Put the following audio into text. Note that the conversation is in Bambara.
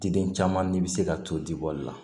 Diden caman ni bɛ se ka to dibɔli la